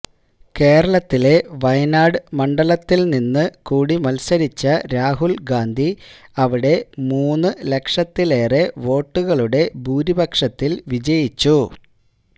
കേരളത്തിലെ വയനാട് മണ്ഡലത്തില് നിന്ന് കൂടി മത്സരിച്ച രാഹുല് ഗാന്ധി അവിടെ മൂന്ന് ലക്ഷത്തിലേറെ വോട്ടുകളുടെ ഭൂരിപക്ഷത്തില് വിജയിച്ചു